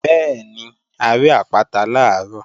Bẹ́ẹ̀ni, a rí àpáta làárọ̀